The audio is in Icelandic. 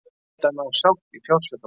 Reynt að ná sátt í fjársvikamáli